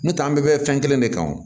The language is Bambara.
Nutan bɛɛ bɛ fɛn kelen de kan o